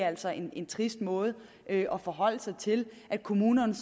altså en en trist måde at forholde sig til at kommunerne